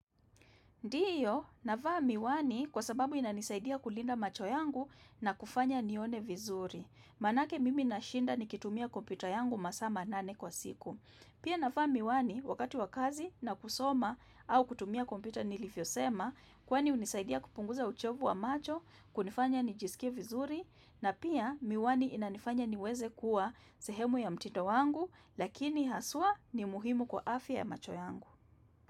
Ndiyo, navaa miwani kwa sababu inanisaidia kulinda macho yangu na kufanya nione vizuri. Maanake mimi nashinda nikitumia kompyuta yangu masaa manane kwa siku. Pia navaa miwani wakati wakazi na kusoma au kutumia kompyuta nilivyosema kwani unisaidia kupunguza uchovu wa macho, kunifanya nijisikie vizuri na pia miwani inanifanya niweze kuwa sehemu ya mtindo wangu lakini haswa ni muhimu kwa afya ya macho yangu.